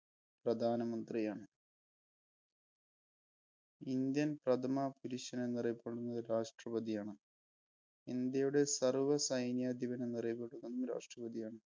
പ്രധാനമന്ത്രിയാണ്. Indian പ്രഥമ പുരുഷൻ എന്നറിയപ്പെടുന്നത് രാഷ്ട്രപതിയാണ്. ഇന്ത്യയുടെ സർവ സൈന്യാധിപൻ എന്നറിയപ്പെടുന്നതും രാഷ്ട്രപതിയാണ്.